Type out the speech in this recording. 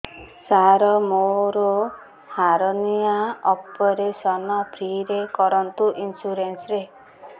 ସାର ମୋର hernia operation free ରେ କରନ୍ତୁ ଇନ୍ସୁରେନ୍ସ ରେ